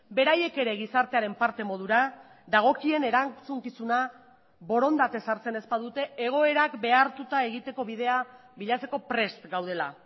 beraiek ere gizartearen parte modura dagokien erantzukizuna borondatez hartzen ez badute egoerak behartuta egiteko bidea bilatzeko prest gaudela